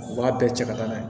U b'a bɛɛ cɛ ka na n'a ye